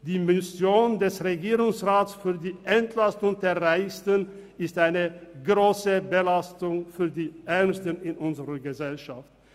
Die Mission des Regierungsrats für die Entlastung der Reichsten ist eine grosse Belastung für die Ärmsten in unserer Gesellschaft.